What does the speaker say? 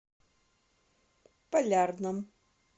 полярном